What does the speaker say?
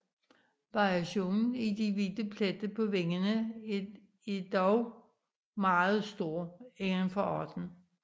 Variationen i de hvide pletter på vingerne er dog meget stor indenfor arten